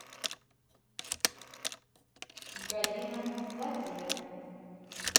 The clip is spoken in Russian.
галина владимировна